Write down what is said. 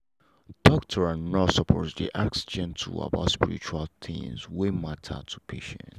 doctor and nurse suppose dey ask gently about spiritual things wey matter to patient.